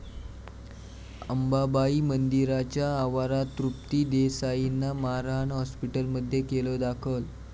अंबाबाई मंदिराच्या आवरात तृप्ती देसाईंना मारहाण, हाॅस्पिटलमध्ये केलं दाखल